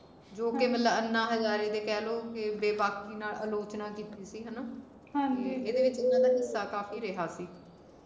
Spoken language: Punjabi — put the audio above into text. ਜੋ ਕਿ ਮਤਲਬ ਅੰਨਾ ਹਜਾਰੇ ਦੇ ਕਹਿ ਲੋ ਬੇਬਾਕੀ ਨਾਲ ਆਲੋਚਨਾ ਕੀਤੀ ਸੀ ਹਣਾ ਤੇ ਇਹਦੇ ਵਿਚ ਏਹਨਾ ਦਾ ਹਿਸਾ ਕਾਫੀ ਰਿਹਾ ਸੀ